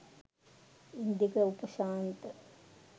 Indika Upashantha